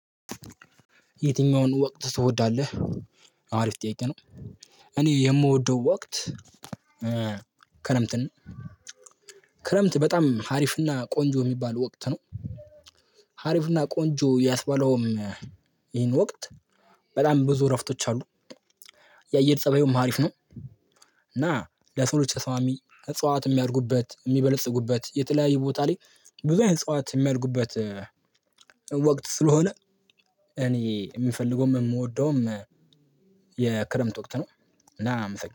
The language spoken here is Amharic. የትኛውን ወቅት ትወዳለህ? አሪፍ ጥያቄ ነው እኔ የምወደው ወቅት ክረምትን ክረምት በጣም አሪፍ እና ቆንጆ ሚባል ወቅት ነው። አሪፍ እና ቆንጆ ያስባለውም ይሄን ወቅት በጣም ብዙ እረፍቶች አሉ የአየር ፀባዩም አሪፍ ነው እና ለሰዎች ተሰማሚ እጽዋት የሚያድጉበት የሚበልጽጉበት የተለያየ ቦታ ላይ ብዙ አይነት እፅዋት የሚያድጉበት ወቅት ስለሆነ እኔ የምፈልገውም የምወደውም የክረምት ወቅት ነው እና አመሰግናለሁ